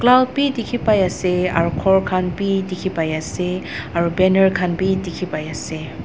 ground bi dikhipaiase aro khor khan bi dikhipaiase aru banner dikhipaiase.